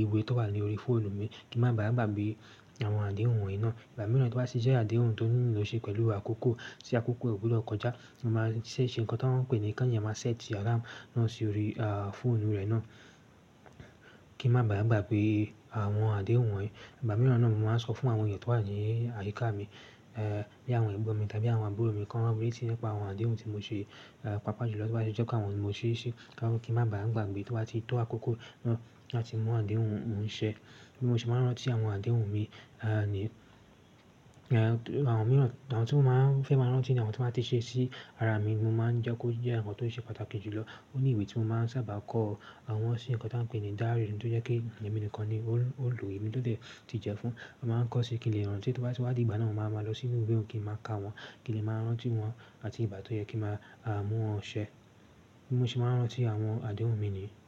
ìwé tó wà ní orí fóònù mi kí n má ba gbàgbé àwọn àdéhùn wọ̀nyí náà. Ìgbà mìíràn tí ó bá sì jẹ́ àdéhùn tó nílò ṣe pẹ̀lú àkókò, tí àkókò kò gbúdọ̀ kọjá, mo máa ṣe ṣe ǹkan tí wọ́n ń pè ní kí èèyàn máa set alarm náà sórí fóònù rẹ náà kí a má bà ń gbàgbé àwọn àdéhùn wọ̀nyí. Ìgbà mìíràn náà ni mo máa ń sọ fún àwọn ènìyàn tó wà ní àyíká mi, bí i àwọn ẹ̀gbọ́n mi tàbí àwọn àbúrò mi kí wọ́n rántí nípa àwọn àdéhùn tí mo ti ṣe, pàápàá jùlọ tí ó bá jẹ́ àwọn tí mo ti ṣe kí wọ́n kí n má bà ń gbàgbé tí wọ́n bá ti tó àkókò náà láti mú àdéhùn òun ṣe. Bí mo ṣe máa ń rántí àwọn àdéhùn mi nìyẹn. Àwọn mìíràn, àwọn tí mo máa ń fẹ́ máa rántí ni àwọn tí n bá ti ṣe sí ara mi. Mo máa ń jẹ́ kó jẹ́ àwọn nǹkan tó ṣe pàtàkì jùlọ. Ó ní ìwé tí mo máa ń sábà kọ àwọn sì ǹkan tí wọ́n ń pè ní diary, ohun tí ó jẹ́ pé èmi nìkan ni ó lo, èmi tó ti jẹ fún. A máa ń kọ sí kí n lè rántí tó bá ti wá di ìgbà náà, mo máa ma lọ sínú ìwé òún kí n máa ka wọ́n, kí n lè máa rántí wọn àti ìgbà tó yẹ kí a mú wọn ṣẹ. Bí mo ṣe máa ń rántí àwọn àdéhùn mi ni.